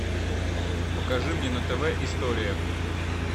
покажи мне на тв история